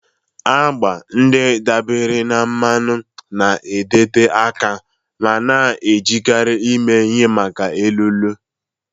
Agba ndị dabeere na mmanụ na-adịte aka ma na-ejikarị eme ihe maka elu elu.